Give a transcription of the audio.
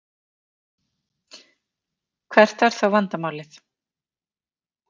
Hvert er þá vandamálið?